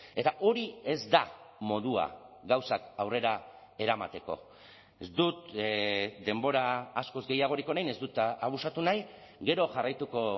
eta hori ez da modua gauzak aurrera eramateko ez dut denbora askoz gehiagorik orain ez dut abusatu nahi gero jarraituko